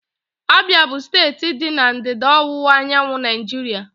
Abia bụ steeti dị na ndịda ọwụwa anyanwụ Naijiria.